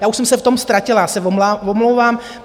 Já už jsem se v tom ztratila, já se omlouvám.